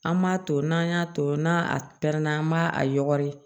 An m'a to n'an y'a to n'a pɛrɛnna an b'a a yɔgɔri